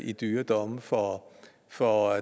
i dyre domme for for